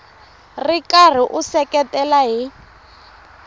ri karhi u seketela hi